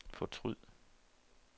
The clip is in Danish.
fortryd